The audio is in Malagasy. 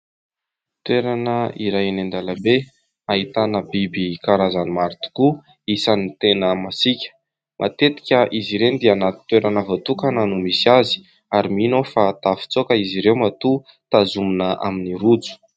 Toerana iray eny an-dalambe, ahitana biby karazany maro tokoa isan'ny tena masiaka. Matetika izy ireny dia anaty toerana voatokana no misy azy ary mino aho fa tafatsoaka izy ireo matoa tazomina amin'ny rojo.